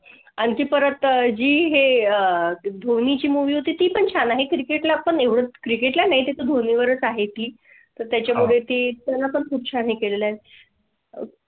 आणखी परत झी हे अह आहे धोनी ची movie होती पण छान आहे Cricket ला पण एवढच Cricket ला नाही तर धोनी वरच आहे ती तर त्याच्या मुळे ते त्यांना पण खूप छान अह